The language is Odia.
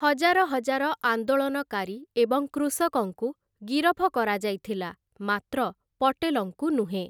ହଜାର ହଜାର ଆନ୍ଦୋଳନକାରୀ ଏବଂ କୃଷକଙ୍କୁ ଗିରଫ କରାଯାଇଥିଲା, ମାତ୍ର ପଟେଲଙ୍କୁ ନୁହେଁ ।